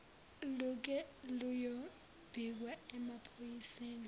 luke luyobikwa emaphoyiseni